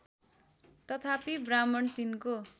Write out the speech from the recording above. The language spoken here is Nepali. तथापि ब्राह्मण तिनको